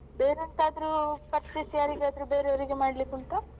ಬೇರೆ ಎಂತಾದ್ರೂ purchase ಯಾರಿಗದ್ರು ಬೇರೆ ಅವ್ರಿಗೆ ಮಾಡ್ಲಿಕ್ಕೆ ಉಂಟಾ?